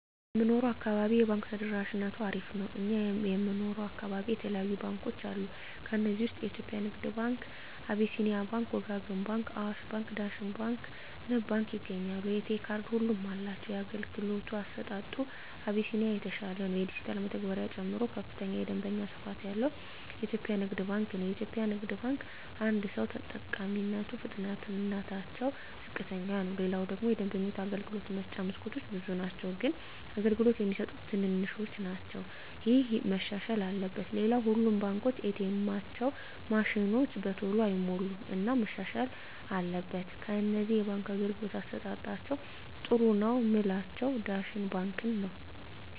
በምንኖረው አካባቢ የባንክ ተደራሽነቱ አሪፍ ነው እኛ የምንኖረው አካባቢ የተለያዩ ባንኮች አሉ ከዚህ ውስጥ የኢትዮጵያ ንግድ ባንክ አቢስኒያ ባንክ ወጋገን ባንክ አዋሽ ባንክ ዳሽን ባንክ ንብ ባንክ ይገኛሉ የኤ.ቴ ካርድ ሁሉም አላቸው የአገልግሎቱ አሰጣጡ አቢስኒያ የተሻለ ነው የዲጅታል መተግበሪያ ጨምሮ ከፍተኛ የደንበኛ ስፋት ያለው ኢትዮጵያ ንግድ ባንክ ነው የኢትዮጵያ ንግድ ባንክ አደሰው ተጠቃሚነቱ ፍጥነትታቸው ዝቅተኛ ነው ሌላው ደግሞ የደንበኞች የአገልግሎት መስጫ መስኮቶች ብዙ ናቸው ግን አገልግሎት የሚሰጡት ትንሾች ናቸው እሄ መሻሻል አለበት ሌላው ሁሉም ባንኮች ኤ. ቴኤማቸው ማሽኖች በተሎ አይሞሉም እና መሻሻል አትበል ከነዚህ የባንክ አገልግሎት አሠጣጣቸዉ ጥሩ ነው ምላቸውን ዳሽን ባንክን ነዉ